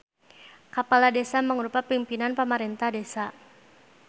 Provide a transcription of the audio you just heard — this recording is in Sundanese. Kapala Desa mangrupa pingpinan pamarentah desa.